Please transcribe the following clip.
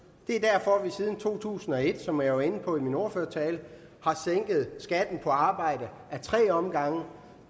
det er derfor at vi siden to tusind og et som jeg var inde på i min ordførertale har sænket skatten på arbejde ad tre omgange